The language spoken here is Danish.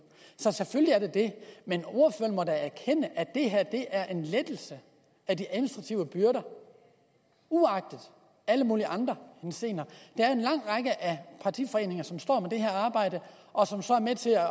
så selvfølgelig er der det men ordføreren må da erkende at det her er en lettelse af de administrative byrder uagtet alle mulige andre henseender der er en lang række af partiforeninger som står med det her arbejde og som så er med til at